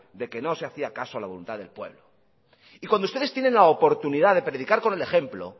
de que no se hacía caso a la voluntad del pueblo y cuando ustedes tienen la oportunidad de predicar con el ejemplo